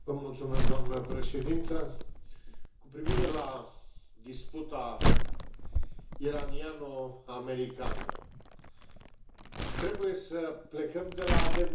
Doamnă președintă, cu privire la disputa iraniano americană, trebuie să plecăm de la adevăr.